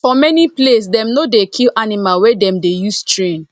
for many place dem no dey kill animal wey dem dey use train